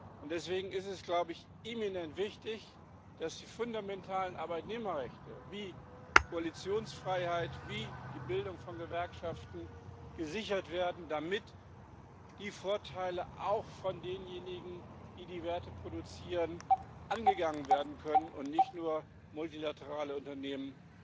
Und deswegen ist es eminent wichtig, dass die fundamentalen Arbeitnehmerrechte wie Koalitionsfreiheit, wie die Bildung von Gewerkschaften gesichert werden, damit die Vorteile auch von denjenigen, die die Werte produzieren, genutzt werden können und nicht nur multilaterale Unternehmen